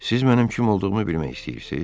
Siz mənim kim olduğumu bilmək istəyirsiz?